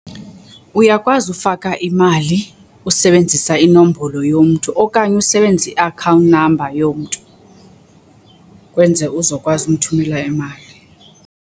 Uyakwazi ufaka imali usebenzisa inombolo yomntu okanye usebenzise i-account number yomntu, kwenze uzokwazi umthumela imali.